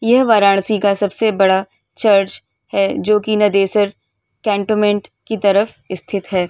यह वाराणसी का सबसे बड़ा चर्च है जोकि नदेसर कैन्टोमेंट की तरफ़ स्थित है।